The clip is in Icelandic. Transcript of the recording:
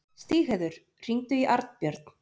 Stígheiður, hringdu í Arnbjörn.